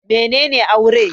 Mene ne Aure?